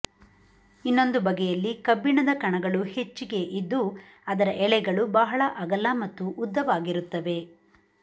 ಇನ್ನೊಂದು ಬಗೆಯಲ್ಲಿ ಕಬ್ಬಿಣದ ಕಣಗಳು ಹೆಚ್ಚಿಗೆ ಇದ್ದು ಅದರ ಎಳೆಗಳು ಬಹಳ ಅಗಲ ಮತ್ತು ಉದ್ದವಾಗಿರುತ್ತವೆ